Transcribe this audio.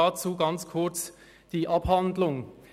Dazu ganz kurz die Abhandlung.